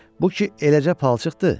Bu ki eləcə palçıqdır.